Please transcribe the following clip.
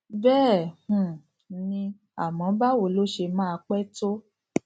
béè um ni àmó báwo ló ṣe máa pé tó